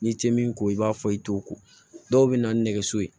N'i tɛ min ko i b'a fɔ i t'o ko dɔw bɛ na ni nɛgɛso ye